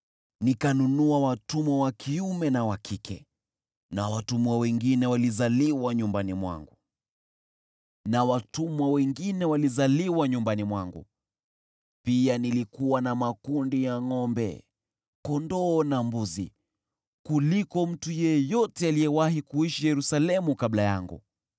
Nikanunua watumwa wa kiume na wa kike na watumwa wengine walizaliwa nyumbani mwangu. Pia nilikuwa na makundi ya ngʼombe, kondoo na mbuzi kuliko mtu yeyote aliyewahi kuishi Yerusalemu kabla yangu.